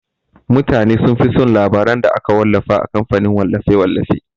Mutane sunfi son labaran da aka wallafa a kamfanin wallafe-wallafe.